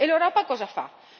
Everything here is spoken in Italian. E l'Europa cosa fa?